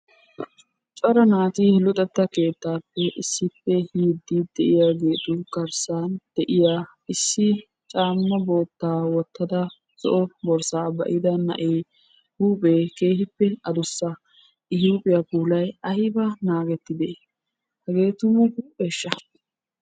Cora naati luxetta keettaappe issippe yiiddi de'iyageetu garssan de'iya issi caamma boottaa wottada zo'o borssaa ba'ida na'ee huuphee keehippe adussa. I huuphiya puulay ayiba naagettidee! Hegee tumu huupheeshsha!